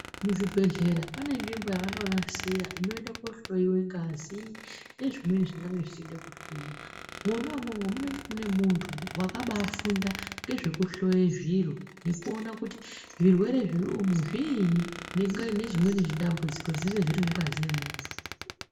Muzvibhedhlera pane nzvimbo yavanonasira inoenda kohloyiwa ngazi nezvimweni zvingange zvichida kuhloyiwa mwona imwomwo munenge muine muntu wakabafunda ngezvekuhloye zviro ngekuona kuti zvirwere zviri umu zviini nezvimweni zvidambudziko zvinenge zviri mungazi yemuntu.